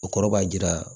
O kɔrɔ b'a jira